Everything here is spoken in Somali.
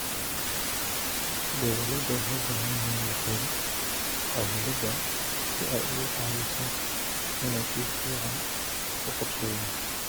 Beeralayda waxay u baahan yihiin la-talin cimilada si ay uga caawiso inay si fiican u qorsheeyaan.